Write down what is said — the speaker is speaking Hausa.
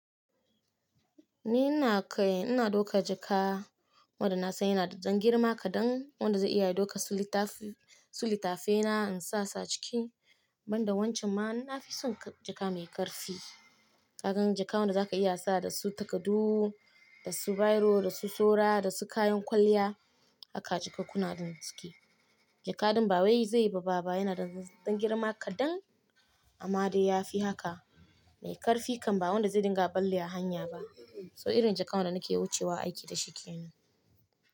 Ni na kai, ina dauka jaka wanda na san yana da ɗan girma kaɗan wanda zai iya daukar su litafi, su litafaina in sa su a ciki. Banda wancan ma na fi son jaka mai ƙarfi. Kagan jaka wanda za ka iya sa da su takadu, da su bairo, da su soro, da su kayan kwalliya aka ji kakunan don suke. Jaka ɗin ba wai zai yi babba, ba, ba yana da ɗan girma kaɗan amma dai ya fi haka mai ƙarfi kan ba wanda zai dinga ballewa a hanya ba. So irin jaka wanda nake wucewa aiki da shi kenan.